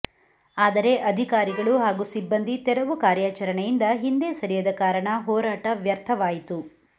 ಆದರೆ ಅಧಿಕಾರಿಗಳು ಹಾಗೂ ಸಿಬ್ಬಂದಿ ತೆರವು ಕಾರ್ಯಾಚರಣೆಯಿಂದ ಹಿಂದೆ ಸರಿಯದ ಕಾರಣ ಹೋರಾಟ ವ್ಯರ್ಥವಾಯಿತು